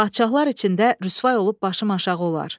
Padşahlar içində rüsva olub başım aşağı olar.